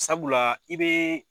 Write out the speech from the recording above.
Sabula i be